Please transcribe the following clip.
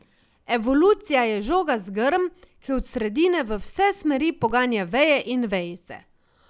Evolucija je žogast grm, ki od sredine v vse smeri poganja veje in vejice.